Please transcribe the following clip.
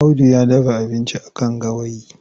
Audu ya dafa abinci a kan gawayi.